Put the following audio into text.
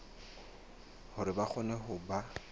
hore ba kgone ho ba